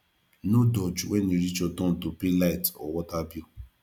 no dodge when e reach your turn to pay light or water bill